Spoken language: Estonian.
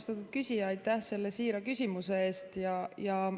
Austatud küsija, aitäh selle siira küsimuse eest!